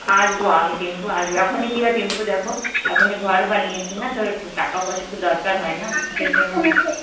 আসবো আমি কিন্তু আসবো. এখনই কিন্তু কি হয় দেখো টিঙ্কু, এখনই ঘর বানিয়েছি না, তো টাকা পয়সার তো একটু দরকার হয় না